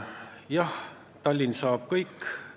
Jah, Tallinn saab kõik.